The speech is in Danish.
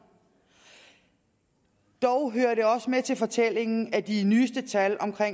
dog hører det også med til fortællingen at de nyeste tal